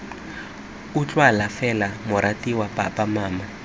utlwala fela moratiwa papa mama